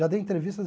Já dei entrevistas